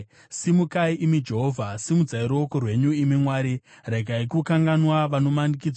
Simukai, imi Jehovha! Simudzai ruoko rwenyu, imi Mwari. Regai kukanganwa vanomanikidzwa.